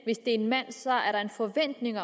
er en mand er der en forventning